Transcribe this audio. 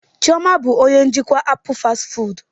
Chioma bụ onye njikwa apụl fastị fụụdụ.